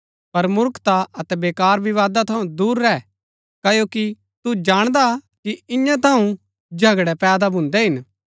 पर मूर्खता अतै वेकार विवादा थऊँ दूर रैह क्ओकि तू जाणदा कि इआं थऊँ झगड़ै पैदा भून्दै हिन